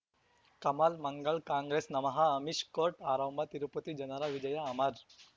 ಕಮಲ್ ಮಂಗಳ್ ಕಾಂಗ್ರೆಸ್ ನಮಃ ಅಮಿಷ್ ಕೋರ್ಟ್ ಆರಂಭ ತಿರುಪತಿ ಜನರ ವಿಜಯ ಅಮರ್